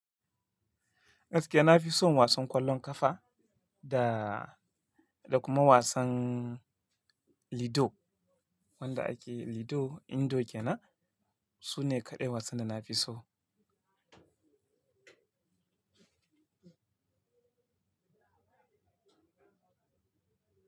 Gaskiya na fi son wasan ƙwallon ƙafa da, da kuma wasan lido. Wanda ake lido, indo ke nan. Su ne kaɗai wasan da na fi so.